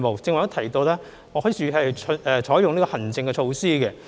如剛才所及，特區政府會採用行政措施。